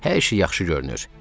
Hər şey yaxşı görünür.